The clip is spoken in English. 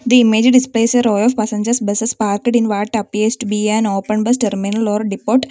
the image displays a row of passengers buses parked in what appears to be an open bus terminal or depot.